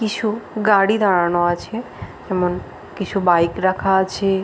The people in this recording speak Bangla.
কিছু গাড়ি দাঁড়ানো আছে। যেমন কিছু বাইক রাখা আছে --